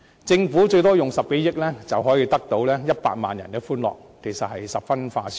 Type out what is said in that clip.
政府最多動用10多億元，便可換取100萬人的歡樂，這其實是十分划算。